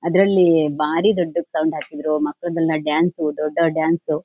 ಅದ್ರಲ್ಲಿ ಭಾರಿ ದೊಡ್ಡದ್ ಸೌಂಡ್ ಹಾಕಿದ್ರು ಮಕ್ಕ್ಳುದೆಲ್ಲಾ ಡಾನ್ಸ್ ದೊಡ್ಡ್ ದೊಡ್ಡ್ ಡಾನ್ಸ್ --